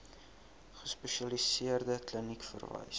gespesialiseerde kliniek verwys